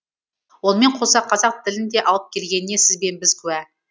онымен қоса қазақ тілін де алып келгеніне сіз бен біз куә